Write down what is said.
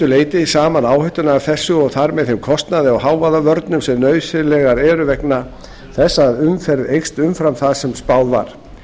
leyti saman áhættuna af þessu og þar með þeim kostnaði af hávaðavörnum sem nauðsynlegar eru vegna þess að umferð eykst umfram það sem spáð var